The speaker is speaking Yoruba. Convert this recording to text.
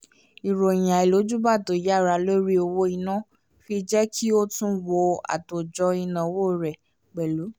ìròyìn àìlójúbà tó yára lórí owó ina fi jẹ́ kí ó tún wò àtòjọ ináwó rẹ̀ pẹ̀lú